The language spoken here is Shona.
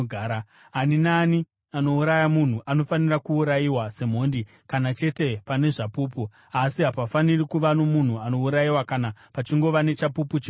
“ ‘Ani naani anouraya munhu anofanira kuurayiwa semhondi kana chete pane zvapupu. Asi hapafaniri kuva nomunhu anourayiwa kana pachingova nechapupu chimwe chete.